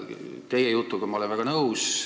Teie jutuga ma olen väga nõus.